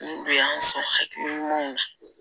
N don an sɔn hakili ɲumanw na